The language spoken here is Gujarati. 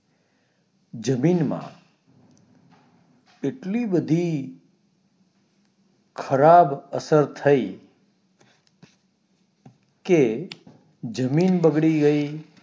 જમીન માં એટલી બધી ખરાબ અસર થઇ કે જમીન બગડી ગઈ